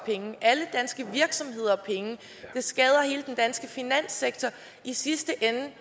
alle danske virksomheder penge og det skader hele den danske finanssektor i sidste ende